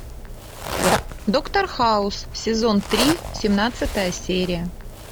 доктор хаус сезон три семнадцатая серия